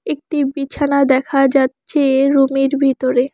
একটি বিছানা দেখা যাচ্ছে রুমের ভিতরে।